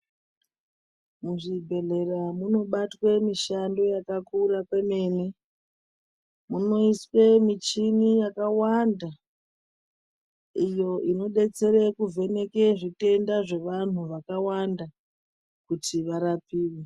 Muzvibhedhlera munobatwe mishando yakakura kwemene. Munoiswe michini yakawanda iyo inodetsere kuvheneke zvitenda zvevantu vakawanda kuti varapiwe.